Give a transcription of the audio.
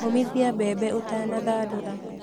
Ũmithia mbembe ũtanathandũra